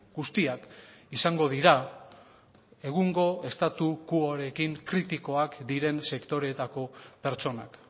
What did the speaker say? guztiak izango dira egungo statu quoarekin kritikoak diren sektoreetako pertsonak